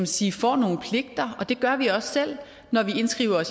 sige får nogle pligter det gør vi også selv når vi indskriver